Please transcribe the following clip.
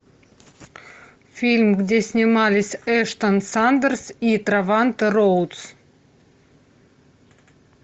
фильм где снимались эштон сандерс и треванте роудс